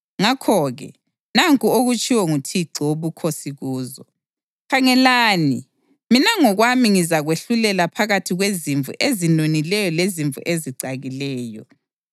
Ngakho-ke nanku okutshiwo nguThixo Wobukhosi kuzo: Khangelani, mina ngokwami ngizakwahlulela phakathi kwezimvu ezinonileyo lezimvu ezicakileyo.